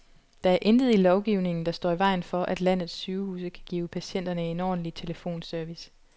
Der er intet i lovgivningen, der står i vejen for, at landets sygehuse kan give patienterne en ordentlig telefonservice.